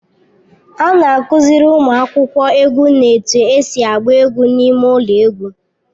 A na-akụziri ụmụ akwụkwọ egwu na-etu esi agba egwu n'ime ụlọ egwu